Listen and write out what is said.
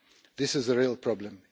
This is the real problem.